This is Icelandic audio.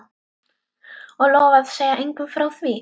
Og lofa að segja engum frá því?